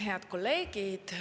Head kolleegid!